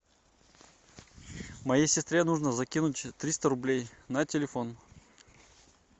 моей сестре нужно закинуть триста рублей на телефон